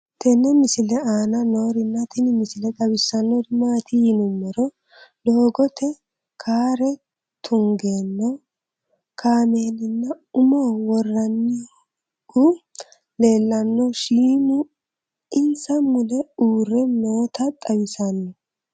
tenne misile aana noorina tini misile xawissannori maati yinummoro doogotte carre tunganno kaamellinna umme woraannohu leellanno shiimmu insa mulle uurre nootta xawissanno